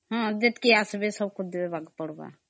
ହଁ ଯେତିକି ଆସିବେ ସମସ୍ତଙ୍କୁ ଦିଅ ଜୀବକେ ପଡିବା